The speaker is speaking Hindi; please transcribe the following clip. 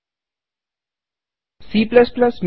नियत कार्य के रूप में